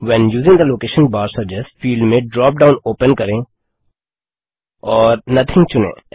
when using the location bar suggest field में drop down open करें और nothing चुनें